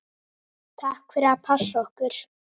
Takk fyrir að passa okkur.